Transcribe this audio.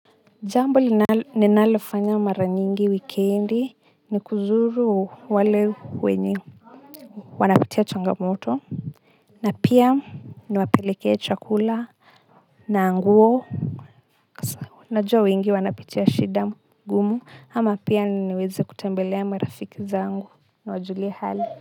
Jambo ninalofanya mara nyingi wikendi ni kuzuru wale wenye wanapitia changamoto na pia niwapelekee chakula na nguo najua wengi wanapitia shida gumu ama pia niweze kutembelea marafiki zangu nawajulie hali.